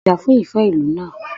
Já fún ìfẹ ìlú náà!